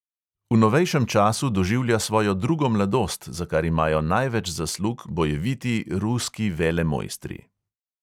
V novejšem času doživlja svojo drugo mladost, za kar imajo največ zaslug bojeviti ruski velemojstri.